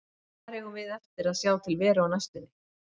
En hvar eigum við eftir að sjá til Veru á næstunni?